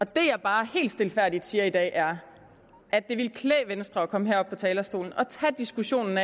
det jeg bare helt stilfærdigt siger i dag er at det ville klæde venstre at komme herop på talerstolen og tage diskussionen